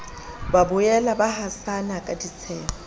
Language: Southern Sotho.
boela ba hasana ka ditsheho